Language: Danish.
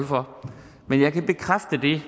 for men jeg kan bekræfte det